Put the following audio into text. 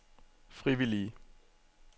frivillige